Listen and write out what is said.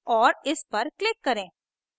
और इस पर click करें